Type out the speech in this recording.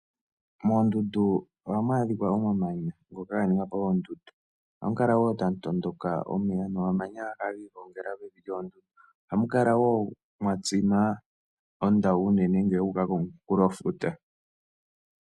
Moondundu ohamu adhika omamanya ngoka oondundu. Ohamu kala wo tamu tondoka omeya nomamanya ohaga kala gi igongela pevi lyoondundu. Ohamu kala wo mwa tsima ondawu unene ngele wu uka komunkulofuta.